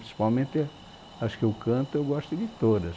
Principalmente a, as que eu canto, eu gosto de todas.